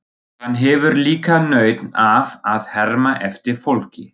Hann hefur líka nautn af að herma eftir fólki.